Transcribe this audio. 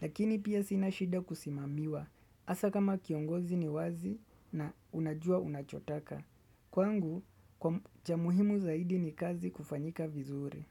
Lakini pia sina shida kusimamiwa, hasa kama kiongozi ni wazi na unajua unachotaka. Kwangu, kwa cha muhimu zaidi ni kazi kufanyika vizuri.